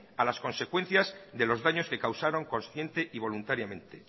a las consecuencias de los daños que causaron consciente y voluntariamente